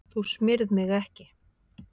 Þú smyrð mig ekki.